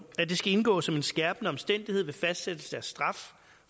at det skal indgå som en skærpende omstændighed ved fastsættelse af straf